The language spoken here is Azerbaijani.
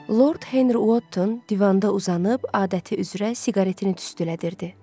Lord Henri Votton divanda uzanıb adəti üzrə siqaretini tüstülədirirdi.